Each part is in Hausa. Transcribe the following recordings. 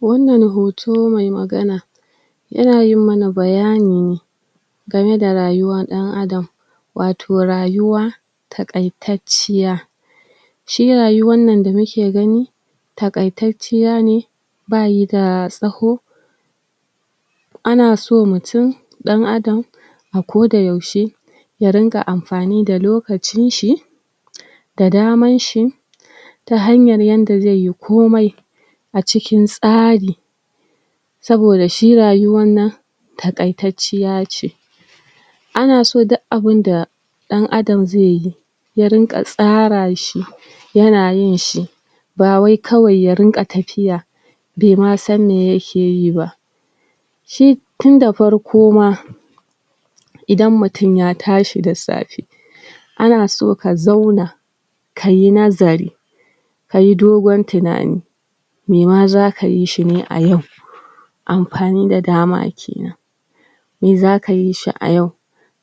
Wannan hoto mai magana yana yi mana bayani ne game da rayuwan ɗan Adam wato rayuwa taƙaitacciya shi rayuwan nan da muke gani taƙaitacciya ne bayi da tsaho ana so mutum ɗan Adam akoda yaushe ya ringa amfani da lokacin shi da daman shi ta hanyar yanda ze yi komai cikin tsari saboda shi rayuwan nan taƙaitacciya ce ana so duk abunda ɗan adam zeyi ya rinƙa tsara shi yana yin shi bawai kawai ya rinƙa tafiya be ma san me yake yi ba shi tunda farko ma idan mutun ya tashi da safe ana so ka zauna kayi nazari kayi dogon tunani mema zaka yishi ne a yau amfani da dama kenan me zaka yishi a yau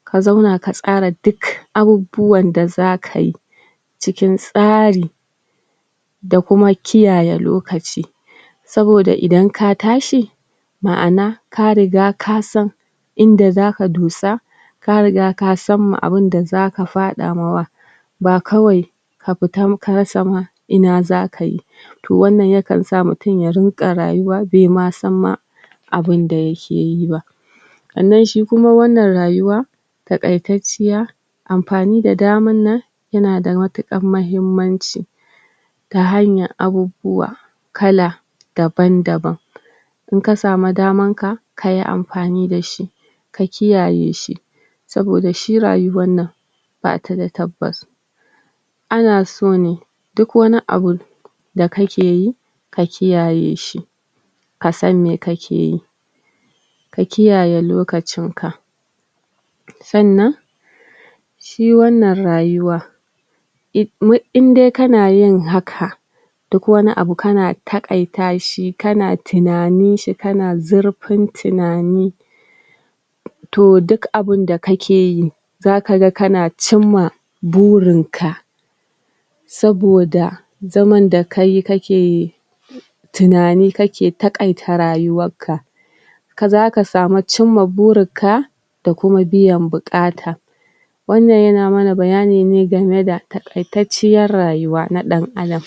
ka zauna ka tsara duk abubuwan da zaka yi cikin tsari da kuma kiyaye lokaci saboda idan ka tashi maʼana ka riga kasan inda zaka dosa ka riga kasan abunda zaka faɗa mawa ba kawai ka fita ka rasa ma Ina zaka yi to wannan yakan sa mutum ya rinƙa rayuwa bema san ma abunda yake yi ba sannan shi kuma wannan rayuwa taƙaitacciya amfani da daman nan yana da matuƙar mahinmanci ta hanyar abubuwa kala daban-daban inka samu daman ka kayi amfani da shi ka kiyaye shi saboda shi rayuwan nan bata da tabbas ana sone duk wani abu da kake yi ka kiyaye shi kasan me kake yi ka kiyaye lokacin ka sannan shi wannan rayuwa indai kana yin haka duk wani abu kana taƙaita shi kana tunanin shi kana zurfin tunani to duk abunda kake yi zaka ga kana cinma burin ka saboda zaman da kayi kake tunani kake taƙaita rayuwar ka zaka samu cinma burinka da kuma biyan buƙata wannan yana mana bayani ne game da taƙaitacciyar rayuwa na ɗan Adam